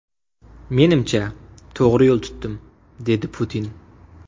Menimcha, to‘g‘ri yo‘l tutdim”, − dedi Putin.